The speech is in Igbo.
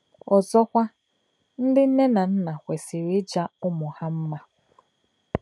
Ọzọkwa, ndị nne na nna kwesịrị ịja ụmụ ha mma.